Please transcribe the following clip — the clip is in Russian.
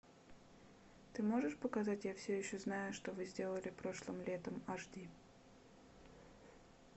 ты можешь показать я все еще знаю что вы сделали прошлым летом аш ди